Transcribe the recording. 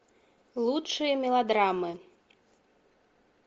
лучшие мелодрамы